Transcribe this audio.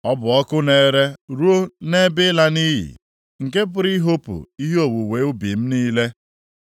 Ọ bụ ọkụ na-ere ruo nʼebe ịla nʼiyi; + 31:12 Maọbụ, Mbibi nke pụrụ ihopu ihe owuwe ubi m niile.